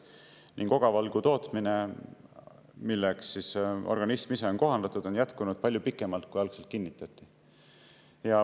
Ning ogavalgu tootmine, milleks organism ise on kohandatud, on jätkunud palju pikemalt, kui algselt kinnitati.